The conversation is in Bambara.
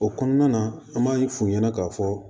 O kɔnɔna na an b'a ye f'u ɲɛna k'a fɔ